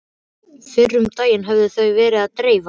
Fyrr um daginn höfðu þau verið að dreifa